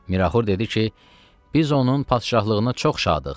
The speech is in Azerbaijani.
Miraxur dedi ki, biz onun padşahlığına çox şadıq.